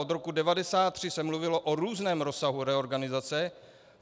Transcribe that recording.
Od roku 1993 se mluvilo o různém rozsahu reorganizace.